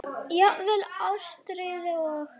Jafnvel Ástríði og